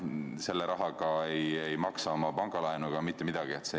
Selle rahaga ei maksa pangalaenu ega mitte midagi.